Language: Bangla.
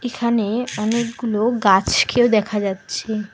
এখানে অনেকগুলো গাছকেও দেখা যাচ্ছে।